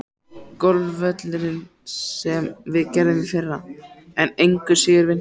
Golfvöllurinn, sem við gerðum í fyrra, er engu síður vinsæll.